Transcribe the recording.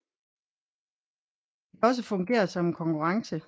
Den kan også fungere som en konkurrence